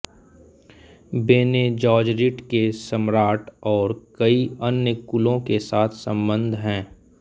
बेने जॅज़ॅरिट के सम्राट और कई अन्य कुलों के साथ सम्बन्ध हैं